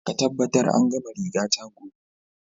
Ka tabbatar an gama rigata gobe!